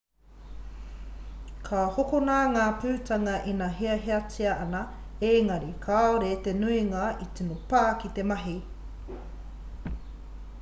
ka hokona ngā putanga ina hiahiatia ana ēngari kāore te nuinga e tino pā ki te mahi